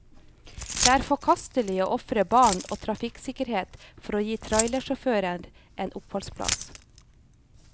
Det er forkastelig å ofre barn og trafikksikkerhet for å gi trailersjåfører en oppholdsplass.